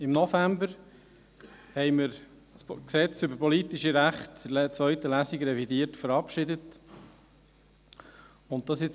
Im November revidierten und verabschiedeten wir in zweiter Lesung das PRG.